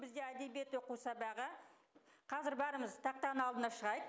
бізде әдебиет оқу сәбағы қазір бәріміз тақтаның алдына шығайық